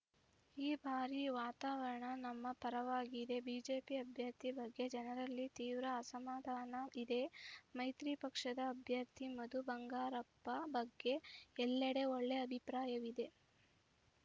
ಈ ಬಾರಿ ವಾತಾವರಣ ನಮ್ಮ ಪರವಾಗಿದೆ ಬಿಜೆಪಿ ಅಭ್ಯರ್ಥಿ ಬಗ್ಗೆ ಜನರಲ್ಲಿ ತೀವ್ರ ಅಸಮಾಧಾನ ಇದೆ ಮೈತ್ರಿ ಪಕ್ಷದ ಅಭ್ಯರ್ಥಿ ಮಧು ಬಂಗಾರಪ್ಪ ಬಗ್ಗೆ ಎಲ್ಲಡೆ ಒಳ್ಳೆ ಅಭಿಪ್ರಾಯವಿದೆ